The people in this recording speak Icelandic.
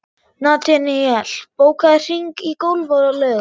Nataníel, bókaðu hring í golf á laugardaginn.